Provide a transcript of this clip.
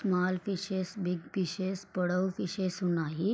Small fishes big fishes పొడవు fishes ఉన్నాయి.